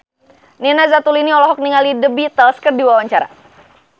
Nina Zatulini olohok ningali The Beatles keur diwawancara